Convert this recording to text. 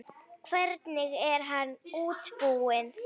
Hvernig er hann útbúinn?